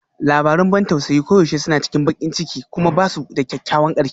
Labarun ban tausayi koyaushe suna cikin baƙin ciki kuma ba su da kyakkyawan ƙarshe